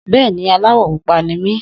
Bẹ́ẹ̀ni, aláwọ̀ pupa ni mí.